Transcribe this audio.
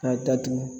K'a datugu